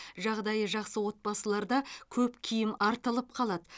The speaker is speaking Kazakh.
жағдайы жақсы отбасыларда көп киім артылып қалады